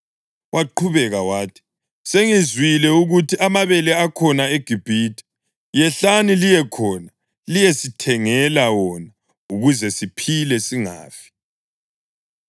Waqhubeka wathi, “Sengizwile ukuthi amabele akhona eGibhithe. Yehlani liye khona liyesithengela wona ukuze siphile singafi.”